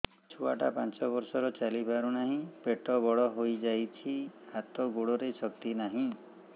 ଛୁଆଟା ପାଞ୍ଚ ବର୍ଷର ଚାଲି ପାରୁ ନାହି ପେଟ ବଡ଼ ହୋଇ ଯାଇଛି ହାତ ଗୋଡ଼ରେ ଶକ୍ତି ନାହିଁ